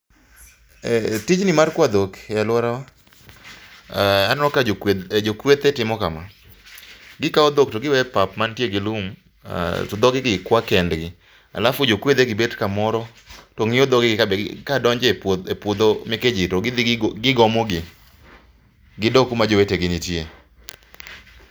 Tijni mar kwa dhok e alworawa, aneno ka jokwethe timo kama. Gikawo dhok to giwe e pap mantie gi lum, to dhoge gi kwa kendgi. Alafu jokwedhe gi bet kamoro to ng'iyo dhoge gi ka be ka donje puodho meke ji to gidhi gigomo gi. Gidog kuma jowetegi nitie.